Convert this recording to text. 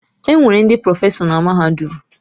Enwere ndị prọfesọ na mahadum.